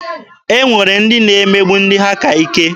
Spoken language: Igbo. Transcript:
E nwere ndị na-emegbu ndị ha ka ike.